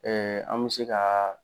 an mɛ se ka